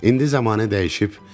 İndi zəmanə dəyişib.